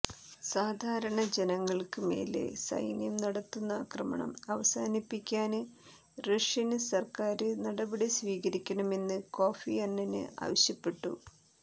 സാധാരണ ജനങ്ങള്ക്ക് മേല് സൈന്യം നടത്തുന്ന ആക്രമണം അവസാനിപ്പിക്കാന് റഷ്യന് സര്ക്കാര് നടപടിസ്വീകരിക്കണമെന്ന് കോഫി അന്നന് ആവശ്യപ്പെട്ടു